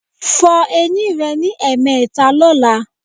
Fọ eyín rẹ ní ẹ̀ẹ̀mẹta lọ́la